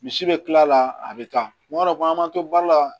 Misi bɛ kila la a bɛ taa kuma dɔ an man to baara la